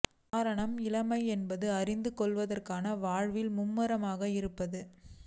காரணம் இளமை என்பது அறிந்து கொள்வதற்காக வாழ்வதில் மும்முரமாக இருப்பது